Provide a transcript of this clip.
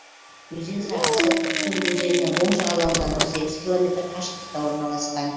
өзен сағасы уктым өзенінің оң жағалауынан он сегіз километр қашықтықта орналасқан